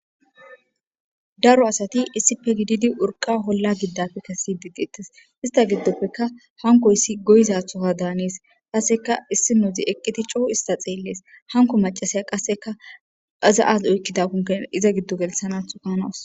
daro asati issipe gididi urqa holla giddapfe kessidi dettes ista giddofeka hankoyissi goyizaththoka daanees qasseka issinozi eqqiti coo ista xeellees hanko macasaya qasseka iaza azi oykkidakonne iza giddo gelthanathoka hanawus